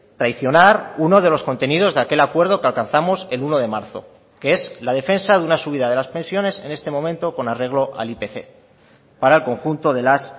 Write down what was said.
traicionar uno de los contenidos de aquel acuerdo que alcanzamos el uno de marzo que es la defensa de una subida de las pensiones en este momento con arreglo al ipc para el conjunto de las